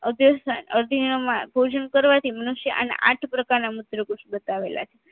અઢીનાંમાં ભોજન કરવાથી મનુસ્ય અન્ય આઠ પ્રકારના મૂત્રકૂસ બતાવેલા છે